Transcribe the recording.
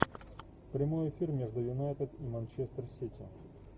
прямой эфир между юнайтед и манчестер сити